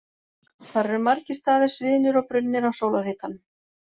Þar eru margir staðir sviðnir og brunnir af sólarhitanum.